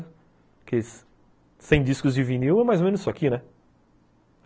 Porque cem discos de vinil é mais ou menos isso aqui, né?